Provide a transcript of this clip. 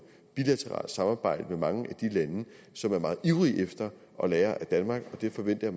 bilateralt samarbejde med mange af de lande som er meget ivrige efter at lære af danmark og det forventer